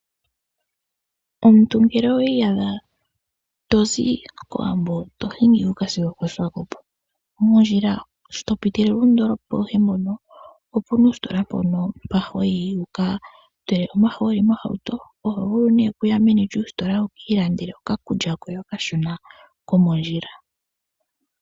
Omuntu ngele owi iyadha to hingi to zi mOwambo to hingi sigo okoSwakopo, moondjila shi to piitilile oondolopa adhihe ndhono omu na oositola moka ho yi wu ka tule omahooli mohauto. Oho vulu nduno okuya meni lyositola wu ka ilandele okakulya koye okashona komondjila.